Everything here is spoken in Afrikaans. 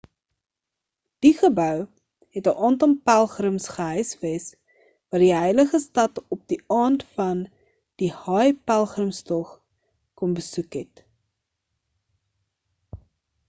die gebou het 'n aantal pelgrims gehuisves wat die heilige stad op die aand van die hajj-pelgrimstog kom besoek het